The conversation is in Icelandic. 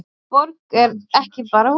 Borg er ekki bara hús.